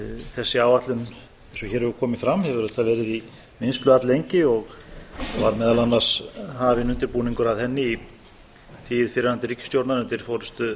þessi áætlun eins og hér hefur komið fram hefur auðvitað verið í vinnslu alllengi og var meðal annars hafinn undirbúningur að henni í tíð fyrrverandi ríkisstjórnar undir forustu